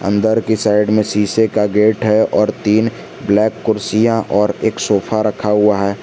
अंदर के साइड में शीशे का गेट है और तीन ब्लैक कुर्सियां और एक सोफा रखा हुआ है।